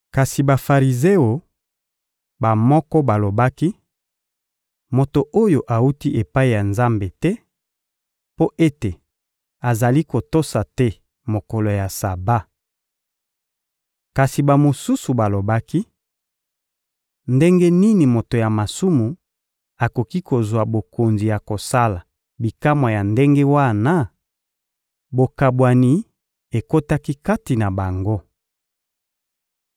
Kati na Bafarizeo, bamoko balobaki: — Moto oyo awuti epai ya Nzambe te, mpo ete azali kotosa te mokolo ya Saba. Kasi bamosusu balobaki: — Ndenge nini moto ya masumu akoki kozwa bokonzi ya kosala bikamwa ya ndenge wana? Bokabwani ekotaki kati na bango.